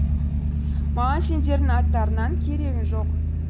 маған сендердің аттарыңнаң керегі жоқ